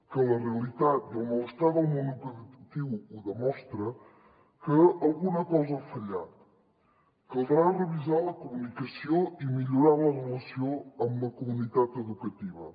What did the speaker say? que la realitat i el malestar del món educatiu ho demostren que alguna cosa ha fallat caldrà revisar la comunicació i millorar la relació amb la comunitat educativa